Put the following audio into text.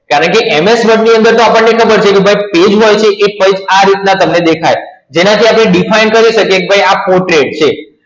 કારણ કે MS Word ની અંદર તો આપણને ખબર છે ભાઈ કે Page wise છે એ કઈક આ રીતના તમને દેખાય, જેનાથી આપણે Define કરી શકીએ કે ભાઈ આ Portrait છે.